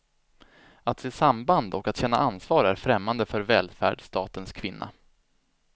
Att se samband och att känna ansvar är främmande för välfärdsstatens kvinna.